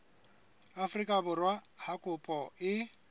afrika borwa ha kopo e